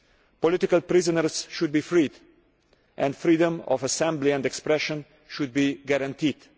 Political prisoners should be freed, and freedom of assembly and expression should be guaranteed.